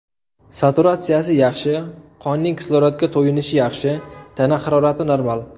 Saturatsiyasi yaxshi, qonning kislorodga to‘yinishi yaxshi, tana harorati normal.